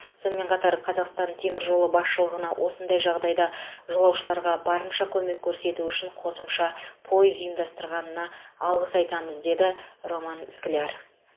сонымен қатар қазақстан темір жолы басшылығына осындай жағдайда жолаушыларға барынша көмек көрсету үшін қосымша пойыз ұйымдастырғанына алғыс айтамыз деді роман скляр